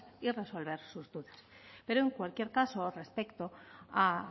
y resolver sus dudas pero en cualquier caso respecto a